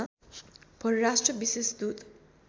परराष्ट्र विशेष दूत